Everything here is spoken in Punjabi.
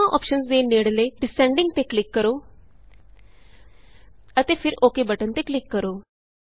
ਦੋਹਾਂ ਅੋਪਸ਼ਨਸ ਦੇ ਨੇੜਲੇ Descendingਤੇ ਕਲਿਕ ਕਰੋ ਅਤੇ ਫਿਰ OKਬਟਨ ਤੇ ਕਲਿਕ ਕਰੋ